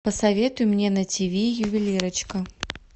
посоветуй мне на тиви ювелирочка